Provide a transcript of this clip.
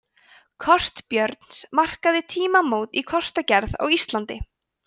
kort björns markaði tímamót í kortagerð á íslandi